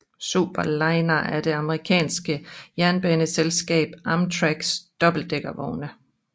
Superliner er det amerikanske jernbaneselskab Amtraks dobbeltdækkervogne